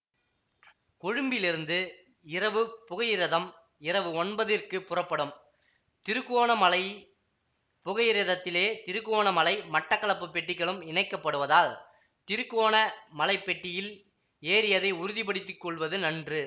கொழும்பிலிருந்து இரவுப் புகையிரதம் இரவு ஒன்பதிற்குப் புறப்படும் திருக்கோணமலை புகையிரதத்திலேயே திருக்கோணமலை மட்டக்களப்பு பெட்டிகளும் இணைக்கப்படுவதால் திருக்கோணமலைப் பெட்டியில் ஏறியதை உறுதி படுத்தி கொள்வது நன்று